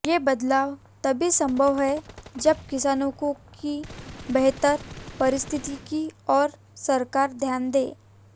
ये बदलाव तभी संभव है जब किसानों की बेहतर परिस्थिति की ओर सरकार ध्यान दें